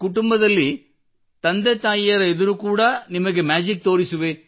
ಕುಟುಂಬದಲ್ಲಿ ತಂದೆ ತಾಯಿಯರ ಎದುರು ಕೂಡಾ ನಿಮಗೆ ಮ್ಯಾಜಿಕ್ ತೋರಿಸುವೆ